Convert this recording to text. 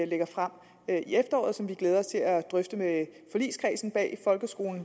lægger frem i efteråret og som vi glæder os til at drøfte med forligskredsen bag folkeskolen